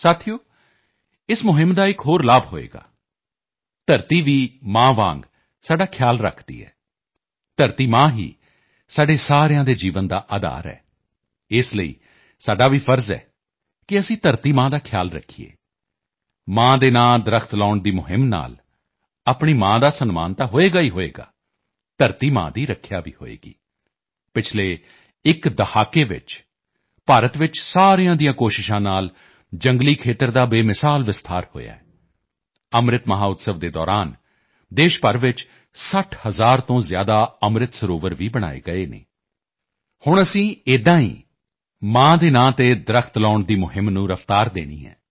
ਸਾਥੀਓ ਇਸ ਮੁਹਿੰਮ ਦਾ ਇੱਕ ਹੋਰ ਲਾਭ ਹੋਵੇਗਾ ਧਰਤੀ ਵੀ ਮਾਂ ਵਾਂਗ ਸਾਡਾ ਧਿਆਨ ਰੱਖਦੀ ਹੈ ਧਰਤੀ ਮਾਂ ਹੀ ਸਾਡੇ ਸਾਰਿਆਂ ਦੇ ਜੀਵਨ ਦਾ ਅਧਾਰ ਹੈ ਇਸ ਲਈ ਸਾਡਾ ਵੀ ਫਰਜ਼ ਹੈ ਕਿ ਅਸੀਂ ਧਰਤੀ ਮਾਂ ਦਾ ਖਿਆਲ ਰੱਖੀਏ ਮਾਂ ਦੇ ਨਾਂ ਦਰੱਖਤ ਮਾਂ ਕੇ ਨਾਮ ਪੇੜ ਲਗਾਉਣ ਦੀ ਮੁਹਿੰਮ ਨਾਲ ਆਪਣੀ ਮਾਂ ਦਾ ਸਨਮਾਨ ਤਾਂ ਹੋਵੇਗਾ ਹੀ ਹੋਵੇਗਾ ਧਰਤੀ ਮਾਂ ਦੀ ਰੱਖਿਆ ਵੀ ਹੋਵੇਗੀ ਪਿਛਲੇ ਇੱਕ ਦਹਾਕੇ 'ਚ ਭਾਰਤ ਵਿੱਚ ਸਾਰਿਆਂ ਦੀਆਂ ਕੋਸ਼ਿਸ਼ਾਂ ਨਾਲ ਜੰਗਲੀ ਖੇਤਰ ਦਾ ਬੇਮਿਸਾਲ ਵਿਸਥਾਰ ਹੋਇਆ ਹੈ ਅੰਮ੍ਰਿਤ ਮਹੋਤਸਵ Amrit Mahotsav ਦੇ ਦੌਰਾਨ ਦੇਸ਼ ਭਰ 'ਚ 60 ਹਜ਼ਾਰ ਤੋਂ ਜ਼ਿਆਦਾ ਅੰਮ੍ਰਿਤ ਸਰੋਵਰ ਵੀ ਬਣਾਏ ਗਏ ਹਨ ਹੁਣ ਅਸੀਂ ਏਦਾਂ ਹੀ ਮਾਂ ਦੇ ਨਾਂ 'ਤੇ ਦਰੱਖਤ ਮਾਂ ਕੇ ਨਾਮ ਪੇੜ ਲਗਾਉਣ ਦੀ ਮੁਹਿੰਮ ਨੂੰ ਰਫ਼ਤਾਰ ਦੇਣੀ ਹੈ